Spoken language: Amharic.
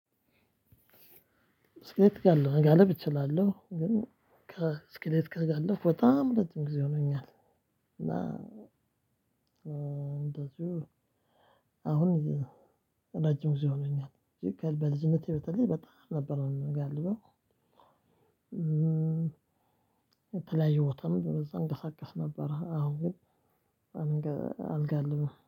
እስክሌት ካለ መጋለብ እችላለሁ። ግን እስክሌት ጋር ከጋልብኩ በጣም እረጅም ጊዜ ሆኖኛል። እና እንደዚሁ አሁን ረጅም ጊዜ ሆኖኛል። በልጅነቴ በተለይ በጣም ነበር ነው ምጋልብው። የተለያዩ ቦታም በዛ እንቀሳቀስ ነበረ። አሁን ግን አልጋ አለኝ